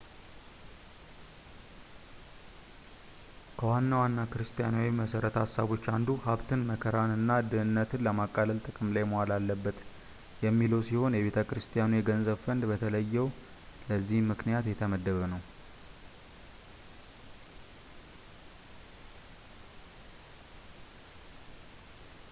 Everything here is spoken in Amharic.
ከዋና ዋና ክርስቲያናዊ መሠረተ ሐሳቦች አንዱ ሀብትን መከራን እና ድህነትን ለማቃለል ጥቅም ላይ መዋል አለበት የሚለው ሲሆን የቤተ ክርስቲያኒቱ የገንዘብ ፈንድ በተለየ ለዚህ ምክንያት የተመደበ ነው